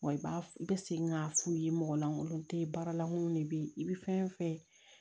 Wa i b'a i bɛ segin k'a f'u ye mɔgɔ lankolon tɛ yen baaralankolon de bɛ yen i bɛ fɛn fɛn